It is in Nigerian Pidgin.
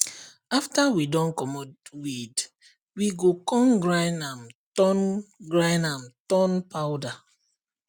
after we don comot the weed we go con grind am turn grind am turn powder